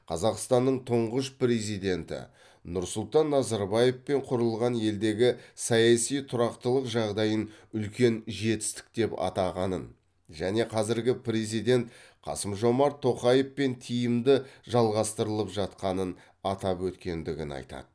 қазақстанның тұңғыш президенті нұрсұлтан назарбаевпен құрылған елдегі саяси тұрақтылық жағдайын үлкен жетістік деп атағанын және қазіргі президент қасым жомарт тоқаевпен тиімді жалғастырылып жатқанын атап өткендігін айтады